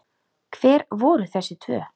Hver voru þessi tvö?